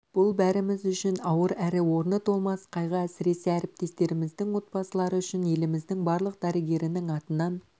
бұл бәріміз үшін ауыр әрі орны толмас қайғы әсіресе әріптестеріміздің отбасылары үшін еліміздің барлық дәрігерінің атынан